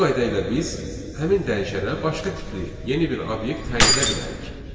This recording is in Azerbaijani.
Bu qayda ilə biz həmin dəyişənə başqa tipli yeni bir obyekt təyin edə bilərik.